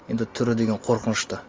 енді түрі деген қорқынышты